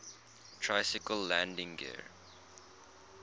tricycle landing gear